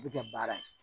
U bɛ kɛ baara ye